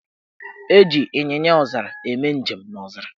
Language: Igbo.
Eji Ịnyịnyaọzara eme njem n' ọzara.